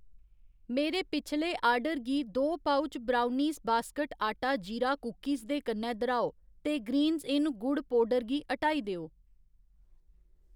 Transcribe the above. मेरे पिछले आर्डर गी दो पउच ब्राउनीस बास्केट आटा जीरा कुकिस दे कन्नै दर्‌हाओ ते ग्रीन्स इन गुड़ पौडर गी ह्टाई देओ।